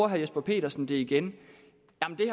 herre jesper petersen igen